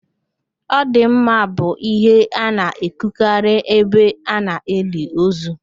"Ọ dị mma" bụ ihe a na-ekwukarị ebe ana-eli ozu